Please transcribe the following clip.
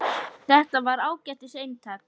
Þetta var ágætis eintak